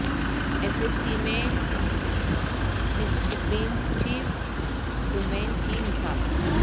S C C میں Mississippian chief domain کی مثال